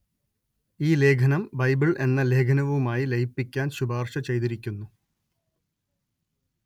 ഈ ലേഖനം ബൈബിള്‍ എന്ന ലേഖനവുമായി ലയിപ്പിക്കാന്‍ ശുപാര്‍ശ ചെയ്തിരിക്കുന്നു